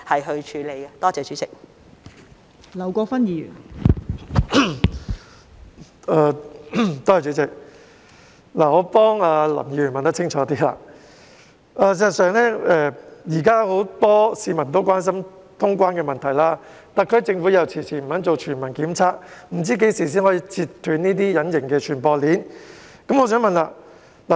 代理主席，我想替林議員問清楚，現時很多市民關心通關問題，特區政府又遲遲不肯進行全民檢測，不知何時才能截斷隱形傳播鏈。